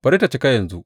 Bari tă cika yanzu!